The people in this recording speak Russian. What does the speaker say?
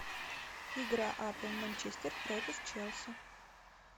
игра апл манчестер против челси